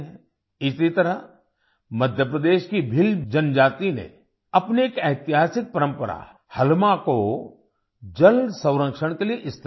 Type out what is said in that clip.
इसी तरह मध्य प्रदेश की भील जनजाति ने अपनी एक ऐतिहासिक परम्परा हलमा को जल संरक्षण के लिए इस्तेमाल किया